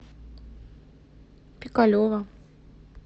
пикалево